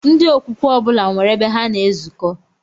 Ndị okwukwe ọbụla nwere ebe ha na-ezuko